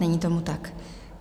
Není tomu tak.